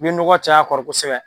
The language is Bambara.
I bɛ nɔgɔ caya a kɔrɔ kosɛbɛ